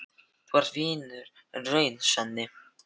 Þú ert vinur í raun, Svenni.